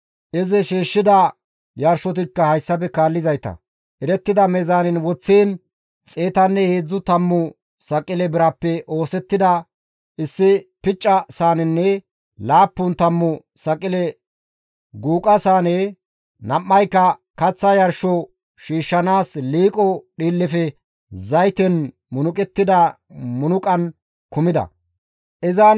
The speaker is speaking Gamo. Izi shiishshida yarshotikka hayssafe kaallizayta, erettida meezaanen woththiin xeetanne heedzdzu tammu saqile birappe oosettida issi picca saanenne laappun tammu saqile guuqa saane, nam7ayka kaththa yarsho shiishshanaas liiqo dhiillefe zayten munuqettida munuqan kumi uttides.